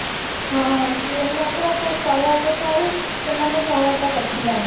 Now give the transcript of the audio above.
ହଁ ସେମାନେ ସହାୟତା କରି ଥିଲେ ଆମକୁ